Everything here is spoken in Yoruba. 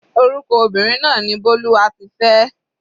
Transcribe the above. Orúkọ obìnrin náà ni Bólúwatifẹ́.